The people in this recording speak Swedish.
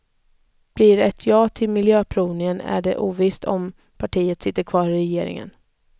Blir det ett ja till miljöprövningen är det ovisst om partiet sitter kvar i regeringen.